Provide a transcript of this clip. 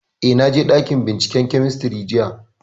Eh, na je ɗakin binciken kemistri jiya